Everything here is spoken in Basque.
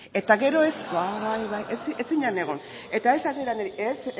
eta gero ez bai bai ez zinen egon eta ez atera niri